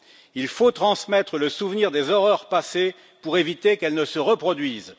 Il faut transmettre le souvenir des horreurs passées pour éviter qu'elles ne se reproduisent.